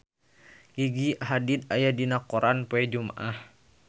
Gigi Hadid aya dina koran poe Jumaah